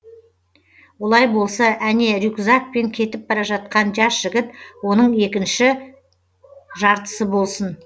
олай болса әне рюкзакпен кетіп бара жатқан жас жігіт оның екініші жартысы болсын